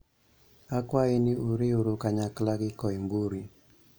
Akwayi ni uriwru kanyakla gi Koimburi